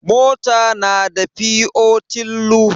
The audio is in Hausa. Mota na da fiotillu.